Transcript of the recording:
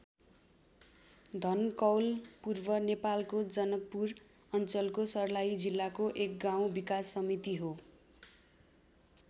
धनकौल पूर्व नेपालको जनकपुर अञ्चलको सर्लाही जिल्लाको एक गाउँ विकास समिति हो।